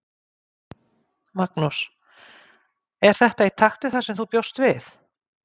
Magnús: Er þetta í takt við það sem þú bjóst við?